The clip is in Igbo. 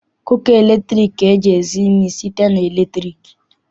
Kuka latriki ka eji esi nri site na latriki.